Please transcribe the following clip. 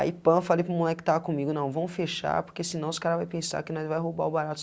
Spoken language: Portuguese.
Aí, pã, falei para o moloque que estava comigo, não, vamos fechar, porque senão os cara vai pensar que nós vai roubar o barato,